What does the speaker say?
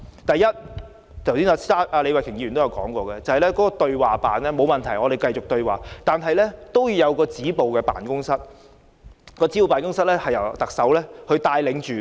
第一，設立李慧琼議員剛才提到的"對話辦公室"——沒有問題，我們繼續對話——之外，還要設立一個由特首帶領的"止暴辦公室"。